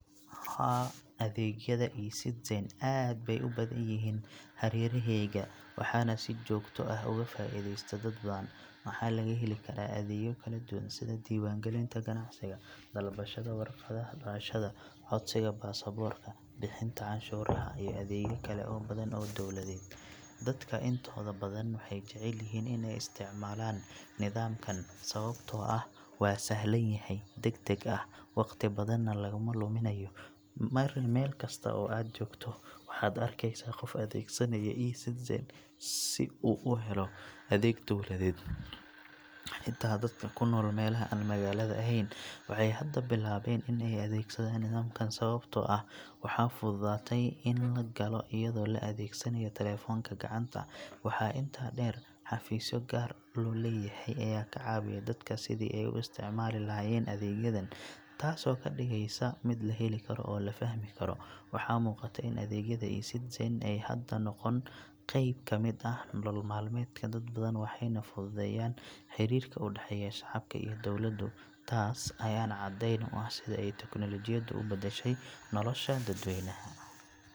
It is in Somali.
Haa, adeegyada e-Citizen aad bay u badan yihiin hareerahayga, waxaana si joogto ah uga faa’iideysta dad badan. Waxaa laga heli karaa adeegyo kala duwan sida diiwaangelinta ganacsiga, dalbashada waraaqaha dhalashada, codsiga baasaboorka, bixinta cashuuraha, iyo adeegyo kale oo badan oo dowladeed. Dadka intooda badan waxay jecel yihiin in ay isticmaalaan nidaamkan sababtoo ah waa sahlan yahay, degdeg ah, waqti badanna laguma luminayo. Meel kasta oo aad joogto, waxaad arkeysaa qof adeegsanaya e-Citizen si uu u helo adeeg dowladeed. Xitaa dadka ku nool meelaha aan magaalada ahayn waxay hadda bilaabeen in ay adeegsadaan nidaamkan sababtoo ah waxaa fududaatay in la galo iyadoo la adeegsanayo taleefanka gacanta. Waxaa intaa dheer, xafiisyo gaar loo leeyahay ayaa ka caawiya dadka sidii ay u isticmaali lahaayeen adeegyadan, taasoo ka dhigaysa mid la heli karo oo la fahmi karo. Waxaa muuqata in adeegyada e-Citizen ay hadda noqdeen qayb ka mid ah nolol maalmeedka dad badan, waxayna fududeeyeen xiriirka u dhexeeya shacabka iyo dowladdu. Taas ayaana caddeyn u ah sida ay teknoolajiyaddu u beddeshay nolosha dadweynaha.